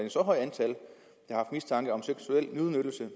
der er mistanke om seksuel udnyttelse